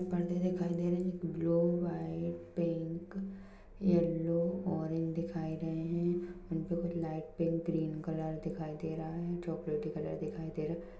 पर्दे दिखाई दे रहे हैंब्लू वाईट पिंक येलो ओरेज दिखाई रहे है उन पर कुछ लाईट पिंक ग्रीन कलर दिखाई दे रहा है चॉकलेटी कलर दिखाई दे रहा है।